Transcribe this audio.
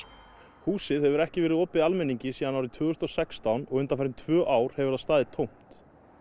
húsið hefur ekki verið opið almenningi síðan árið tvö þúsund og sextán og undanfarin tvö ár hefur það staðið tómt